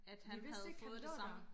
vi vidste ikke han lå der